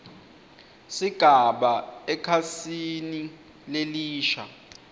sigaba ekhasini lelisha